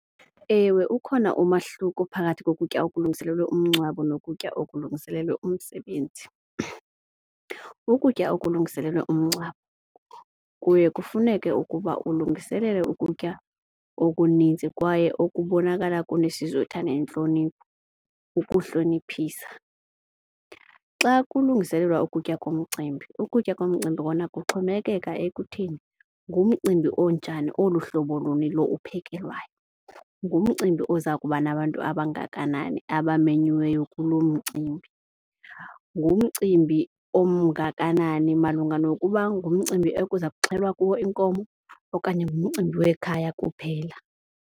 Ewe, ukhona umahluko phakathi kokutya okulungiselelwe umngcwabo nokutya okulungiselelwe umsebenzi. Ukutya okulungiselelwe umngcwabo kuye kufuneke ukuba ulungiselele ukutya okunintsi kwaye ukubonakala kunesizotha nentlonipho ukuhloniphisa. Xa kulungiselelwa ukutya komcimbi ukutya komcimbi kona kuxhomekeka ekutheni ngumcimbi onjani oluhlobo luni lo uphekelwayo, ngumcimbi oza kuba nabantu abangakanani abamanyiweyo kuloo mcimbi. Ngumcimbi omngakanani malunga nokuba ngumcimbi ekuza kuxhelwa kuwo inkomo okanye ngumcimbi wekhaya kuphela.